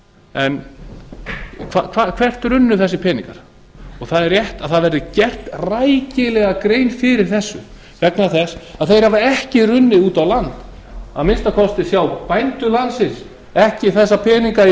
en hvert runnu þessir peningar það er rétt að gerð verði rækilega grein fyrir þessu vegna þess að þeir hafa ekki runnið út á land að minnsta kosti hjá bændum landsins ekki þessa peninga í